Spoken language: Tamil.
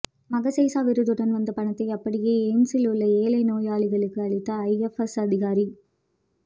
மகசேசே விருதுடன் வந்த பணத்தை அப்படியே எய்ம்ஸில் உள்ள ஏழை நோயாளிகளிக்கு அளித்த ஐஎப்எஸ் அதிகாரி